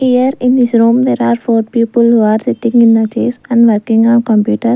here in this room there are four people who are sitting in the desks and working on computer.